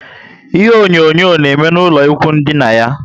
Ihe onyonyo na eme na ụlọ ikwụ ndina yá